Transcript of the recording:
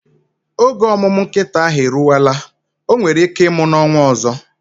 Oge omumu nkita ahu eruwela, onwere ike imu na onwa ozo